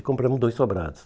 E compramos dois sobrados.